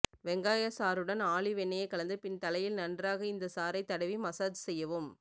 வெங்காய சாறுடன் ஆலிவ் எண்ணெயை கலந்து பின் தலையில் நன்றாக இந்த சாறை தடவி மசாஜ் செய்வும்